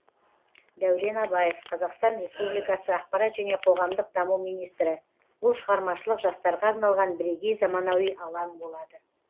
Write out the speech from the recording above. дәурен абаев қазақстан республикасы ақпарат және қоғамдық даму министрі бұл шығармашылық жастарға арналған бірегей заманауи алаң болады